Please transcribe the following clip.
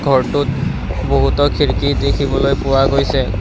ঘৰটোত বহুতো খিৰকী দেখিবলৈ পোৱা গৈছে ঘ--